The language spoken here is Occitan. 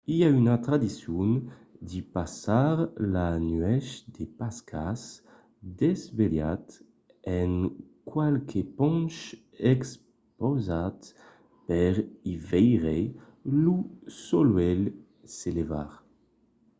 i a una tradicion de passar la nuèch de pascas desvelhat en qualque ponch expausat per i veire lo solelh se levar